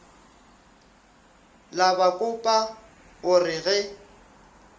la bakopa o re ge